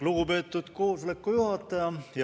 Lugupeetud koosoleku juhataja!